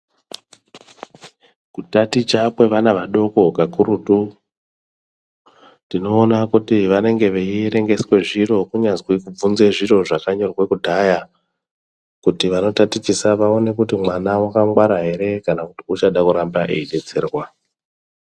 Kutaticha kwevana vadoko kakurutu tinoona kuti vanenge veierengeswe zviro kunyazwi kubvunzwa zviro zvakanyorwe kudhaya kuti vanotatichisa vaone kuti mwana wakangwara ere kana kuti uchade kuramba veidetserwa.